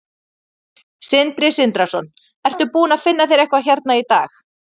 Sindri Sindrason: Ertu búinn að finna þér eitthvað hérna í dag?